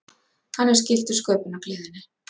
Hann er skyldur sköpunargleðinni.